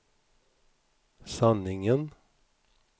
sanningen